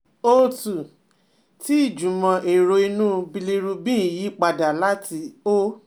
O two, tí ìjùmọ̀ èrò inú bilirubin ń yí padà láti O